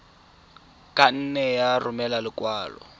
ka nne ya romela lekwalo